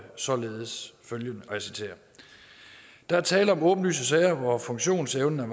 således følgende og jeg citerer der er tale om åbenlyse sager hvor funktionsevnen er